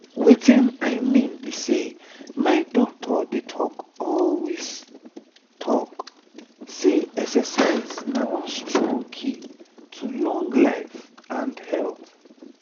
wetin i mean be sey my doctor dey talk always talk say exercise na one strong key to long life and health.